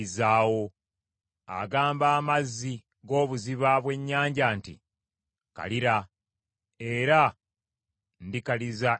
Agamba amazzi g’obuziba bwe nnyanja nti, ‘Kalira, era ndikaliza emigga gyo.’